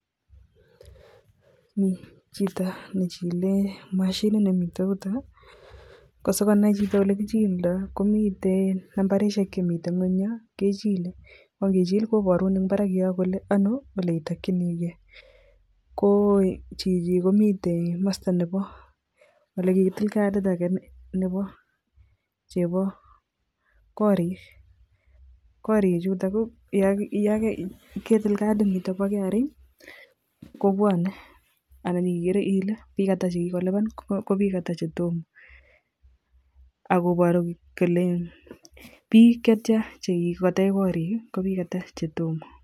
Mii chito nechike Mashinit ne miten yutok, ko sikonai chito olekichildo komiten nambarishek chemiten ngwony yon ko inichil koborun en barak yon kole Ono oleitokiniigee koo chichi komiten komosto nebo ole kitil karit age nebo chebo korik. Korik chutok ko yon ketik katit niton bo KRA kibwone ana ikere Ile bik atak chekikopana ko bik atak chetomo ako iboru kole bik chetyan chekikotech korik ko bik atak chetomo.